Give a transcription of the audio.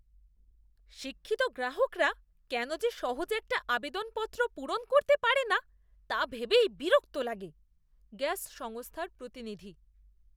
শিক্ষিত গ্রাহকরা কেন যে সহজ একটা আবেদনপত্র পূরণ করতে পারে না তা ভেবেই বিরক্ত লাগে। গ্যাস সংস্থার প্রতিনিধি